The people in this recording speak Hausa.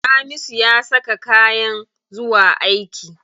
Hamisu ya saka kayan zuwa aiki.